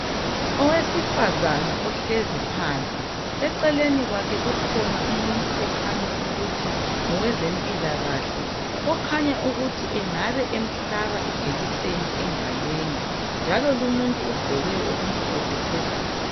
Owesifazana ohlezi phansi, eceleni kwakhe kukhona umuntu okhanya ukuthi ngowezempilakahle, okhanya ukuthi engabe emhlaba ijekiseni engalweni, njalo lumuntu ugqoke okumhlophe phezulu.